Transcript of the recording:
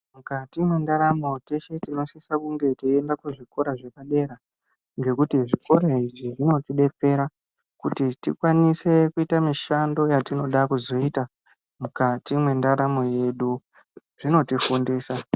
Mukati mwendaramo teshe tinosise kunge tichienda kuzvikora zvepadera. Ngekuti zvikora izvi zvinotibetsera kuti tikwanise kuita mishando yatinoda kuzoita mukati mendaramo yedu, zvinotifundisa.